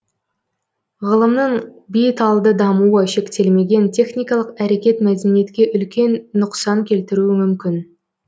ғылымның бет алды дамуы шектелмеген техникалық әрекет мәдениетке үлкен нұқсан келтіруі мүмкін